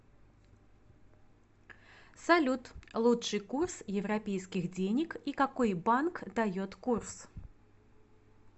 салют лучший курс европейских денег и какой банк дает курс